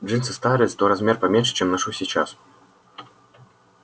джинсы старые зато на размер поменьше чем ношу сейчас